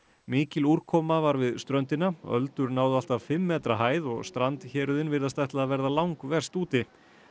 mikil úrkoma var við ströndina öldur náðu allt að fimm metra hæð og strandhéruðin virðast ætla að verða langverst úti